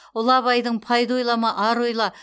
ұлы абайдың пайда ойлама ар ойла